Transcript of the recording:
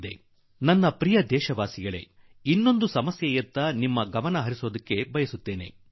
ಇನ್ನೊಂದು ಕಷ್ಟ ಕುರಿತು ನನ್ನೊಲವಿನ ದೇಶವಾಸಿಗಳೇ ನಿಮ್ಮ ಗಮನ ಸೆಳೆಯಲು ಬಯಸುವೆ